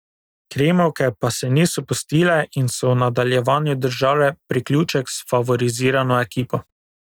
Krimovke pa se niso pustile in so v nadaljevanju držale priključek s favorizirano ekipo.